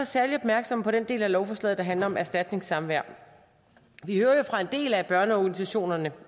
særlig opmærksomme på den del af lovforslaget der handler om erstatningssamvær vi hører jo fra en del af børneorganisationerne